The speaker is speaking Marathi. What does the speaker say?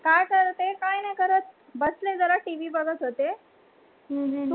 काय करते? काय नाही करत बसलेला टीव्ही बघत होते तुम्ही काय करत होती